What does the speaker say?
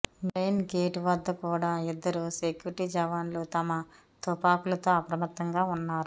main gate వద్ద కూడా ఇద్దరు సెక్యూరిటీ జవాన్లు తమ తుపాకులతో అప్రమత్తంగా ఉన్నారు